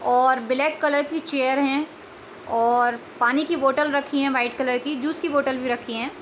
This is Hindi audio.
और ब्लैक कलर की चेयर हैं और पानी की बॉटल रखी हैं। वाइट कलर की जूस की बॉटल भी रखी हैं।